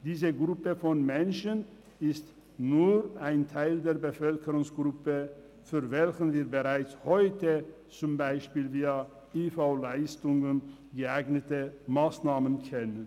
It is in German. Diese Gruppe von Menschen ist nur ein Teil der Bevölkerungsgruppe, für welche wir bereits heute zum Beispiel via Leistungen der Invalidenversicherung (IV) geeignete Massnahmen kennen.